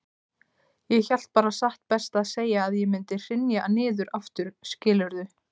Ég hélt bara satt best að segja að ég mundi hrynja niður aftur, skilurðu.